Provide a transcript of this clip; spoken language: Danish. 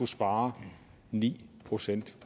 spare ni procent